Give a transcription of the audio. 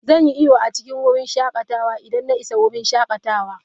Zan yi iyo a cikin wurin shakatawa idan na isa wurin shakatawa.